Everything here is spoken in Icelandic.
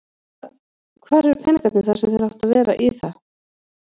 Hvað, hvar eru peningarnir þar sem að áttu að vera í það?